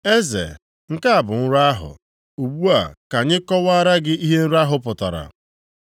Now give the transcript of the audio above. “Eze, nke a bụ nrọ ahụ. Ugbu a ka anyị kọwaara gị ihe nrọ ahụ pụtara.